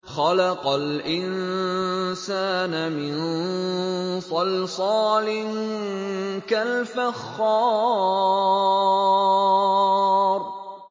خَلَقَ الْإِنسَانَ مِن صَلْصَالٍ كَالْفَخَّارِ